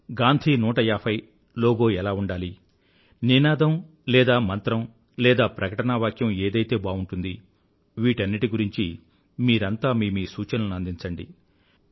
Gandhi 150 logo ఎలా ఉండాలి నినాదం లేదా మంత్రం లేదా ప్రకటనా వాక్యం ఏదైతే బావుంటుంది వీటన్నింటి గురించీ మీరంతా మీ మీ సూచనలను అందించండి